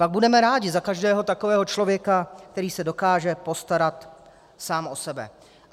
Pak budeme rádi za každého takového člověka, který se dokáže postarat sám o sebe.